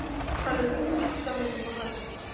салют подключи уведомления по карте